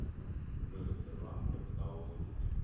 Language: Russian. джой сбербанк капитал услуги